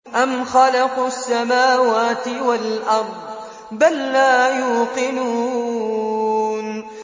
أَمْ خَلَقُوا السَّمَاوَاتِ وَالْأَرْضَ ۚ بَل لَّا يُوقِنُونَ